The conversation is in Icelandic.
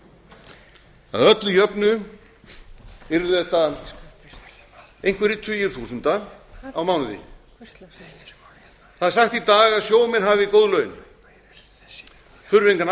að öllu jöfnu yrði þetta einhverjir tugir þúsunda á mánuði það er sagt í dag að sjómenn hafi góð laun þurfi